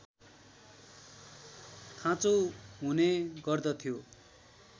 खाँचो हुने गर्दथ्यो